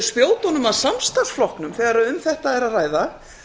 spjótunum að samstarfsflokknum þegar um þetta er að ræða